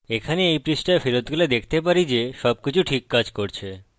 এখানে এই পৃষ্ঠায় ফেরত গেলে দেখতে পারি যে সবকিছু ঠিক কাজ করছে